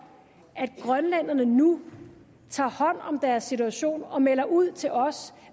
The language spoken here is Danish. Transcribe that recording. at grønlænderne nu tager hånd om deres situation og melder ud til os